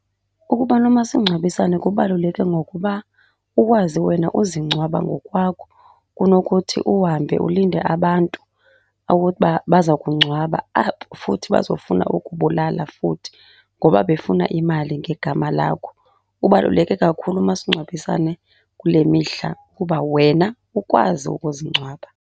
Ukuba nomasingcwabisane kubaluleke ngokuba ukwazi wena uzingcwaba ngokwakho kunokuthi uhambe ulinde abantu uba baza kungcwaba, abo futhi bazofuna ukubulala futhi ngoba befuna imali ngegama lakho. Ubaluleke kakhulu umasingcwabisane kule mihla kuba wena ukwazi ukuzingcwaba.